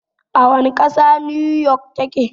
A wane ƙasa 'New York' ta ke?